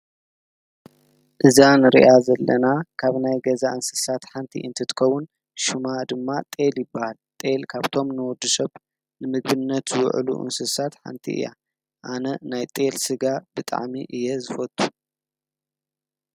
እዛ እንሪኣ ዘለና ካብ ናይ ገዛ እንስሳት ሓንቲ እንትትኸውን ሽማ ድማ ጤል ይበሃል። ጤል ካብቶም ን ወዲ ሰብ ንምግብነት ዝውዕሉ እንስሳት ሓንቲ እያ። ኣነ ናይ ጤል ስጋ ብጣዕሚ እየ ዝፈቱ።